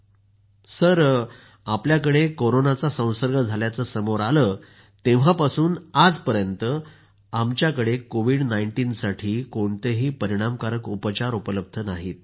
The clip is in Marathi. डॉ० नावीदः आपल्याकडे कोरोनाचा संसर्ग झाल्याचं समोर आलं तेव्हापासून आजपर्यत आमच्याकडे कोविड19 साठी कोणतेही परिणामकारक उपचार उपलब्ध नाहित